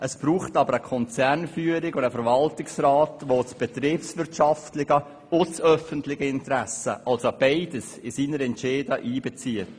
Es braucht jedoch eine Konzernführung und einen Verwaltungsrat, die das betriebswirtschaftliche ebenso wie das öffentliche Interesse in ihre Entscheide einbeziehen.